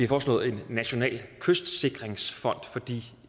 foreslået en national kystsikringsfond fordi